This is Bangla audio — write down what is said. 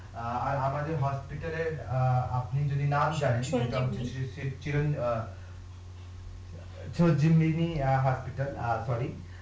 অ্যাঁ আমাদের এর অ্যাঁ